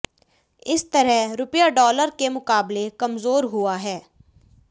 इस तरह रुपया डॉलर के मुकाबले कमजोर हुआ है